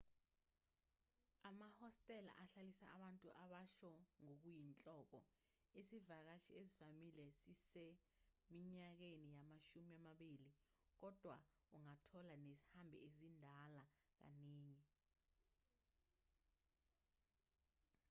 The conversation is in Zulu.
amahostela ahlalisa abantu abasha ngokuyinhloko isivakashi esivamile siseminyakeni yamashumi amabili kodwa ungathola nezihambi ezindala kaningi